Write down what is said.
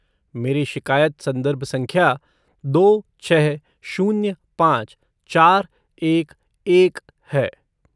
मेरी शिकायत संदर्भ संख्या दो छः शून्य पाँच चार एक एक है।